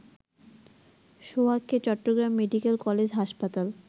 সোহাগকে Chattogram medical college হাসপাতাল